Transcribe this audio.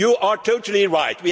it. You are totally right.